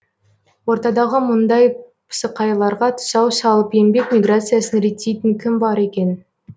ортадағы мұндай пысықайларға тұсау салып еңбек миграциясын реттейтін кім бар екен